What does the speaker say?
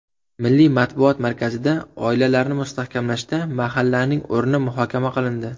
Milliy matbuot markazida oilalarni mustahkamlashda mahallaning o‘rni muhokama qilindi.